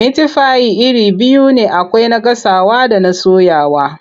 Mitifai iri biyu ne akwai na gasawa da na soyawa.